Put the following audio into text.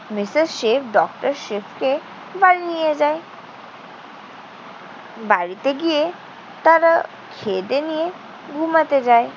Mrs Shiv doctor শিবকে বাড়ি নিয়ে যায়। বাড়িতে গিয়ে তারা খেয়েদেয়ে নিয়ে ঘুমাতে যায়।